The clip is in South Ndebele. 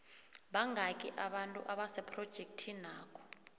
bangaki abantu abasephrojekhthinakho